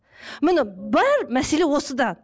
міне бар мәселе осыда